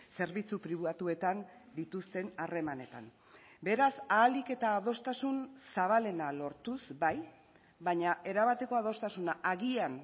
zerbitzu pribatuetan dituzten harremanetan beraz ahalik eta adostasun zabalena lortuz bai baina erabateko adostasuna agian